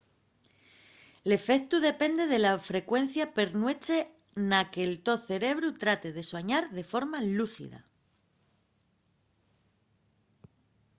l’efectu depende de la frecuencia per nueche na que’l to cerebru trate de suañar de forma lúcida